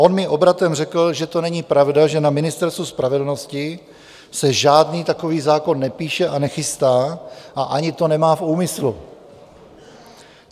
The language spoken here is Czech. On mi obratem řekl, že to není pravda, že na Ministerstvu spravedlnosti se žádný takový zákon nepíše a nechystá a ani to nemá v úmyslu.